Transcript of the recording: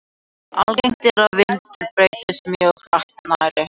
Algengt er að vindur breytist mjög hratt nærri hitahvörfunum.